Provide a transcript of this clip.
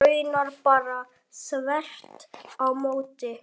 Raunar bara þvert á móti.